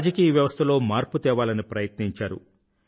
రాజకీయ వ్యవస్థలో మర్పు తేవాలని ప్రయత్నించారు